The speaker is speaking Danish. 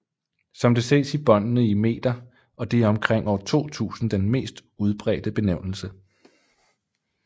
Som det ses angives båndene i meter og det er omkring år 2000 den mest udbredte benævnelse